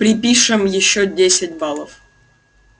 припишем ещё десять баллов